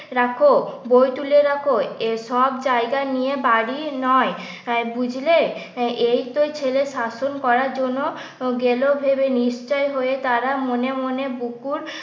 রাখ বই তুলে রাখ এসব জায়গা নিয়ে বাড়ি নয় বুঝলে? এই তো ছেলেকে শাসন করার জন্য গেল ভেবে নিশ্চয় হয়ে তারা মনে মনে বুকুর